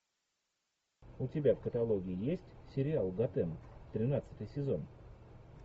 у тебя в каталоге есть сериал готэм тринадцатый сезон